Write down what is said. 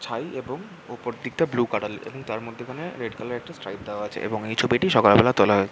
ছাই এবং ওপর দিকটা ব্লু কালার -এর এবং তার মধ্যেখানে রেড কালার -এর একটা স্ট্রাইপ দেওয়া আছে এবং এই ছবিটি সকাল বেলা তোলা হয়েছে |